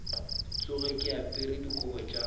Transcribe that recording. tsoge ke apere dikobo tša